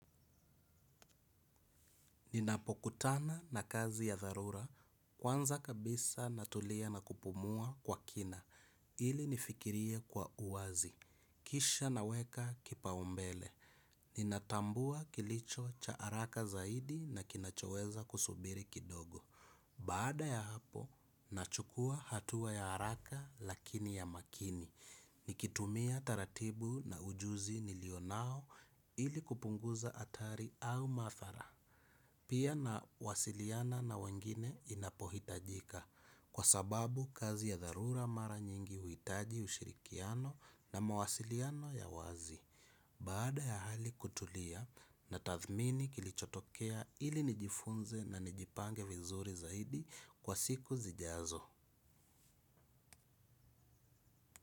Ninapokutana na kazi ya dharura, kwanza kabisa natulia na kupumua kwa kina, ili nifikirie kwa uwazi. Kisha naweka kipaumbele, ninatambua kilicho cha haraka zaidi na kinachoweza kusubiri kidogo. Baada ya hapo, nachukua hatua ya haraka lakini ya makini. Nikitumia taratibu na ujuzi nilionao ili kupunguza hatari au madhara. Pia nawasiliana na wengine inapohitajika kwa sababu kazi ya dharura mara nyingi uhitaji ushirikiano na mawasiliano ya wazi. Baada ya hali kutulia natathmini kilichotokea ili nijifunze na nijipange vizuri zaidi kwa siku zijazo.